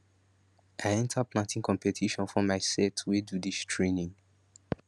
i enter planting competition for my set wey do dis training